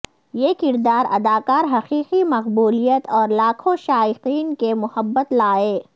یہ کردار اداکار حقیقی مقبولیت اور لاکھوں شائقین کی محبت لائے